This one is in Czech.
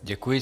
Děkuji.